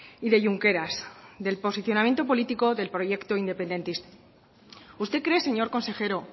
y de junqueras del posicionamiento político del proyecto independentista usted cree señor consejero